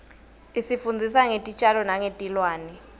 isifundzisa ngetitjalo nengetilwane